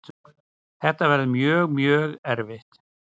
Þetta verður mjög, mjög erfitt.